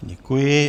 Děkuji.